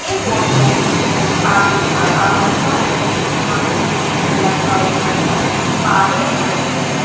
ये फोटो एक ढाबे का बाहर का है जिस जहां पे पोस्टर लगा हुआ है बादल लाइन होटल ।